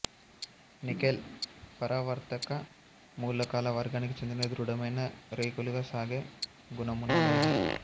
nickel పరావర్తక మూలకాల వర్గానికి చెందిన దృఢమైన రేకులుగా సాగే గుణమున్న లోహం